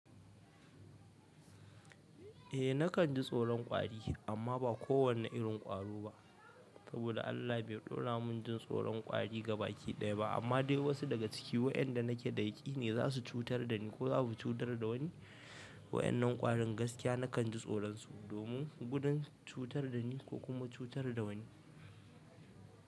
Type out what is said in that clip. Eh nakan ji tsoron kwari amma ba kowane irin kwari ba. Saboda Allah bai ɗora mun jin tsoron kwari gabaki ɗaya ba amma dai wasu daga cikin waɗanda nake da daiƙi ne za su cutar da ni ko za su cutar da wani. Waɗannan ƙwarin gaskiya nakan ji tsoron su domin gudun cutar da ni ko kuma cutar da wani.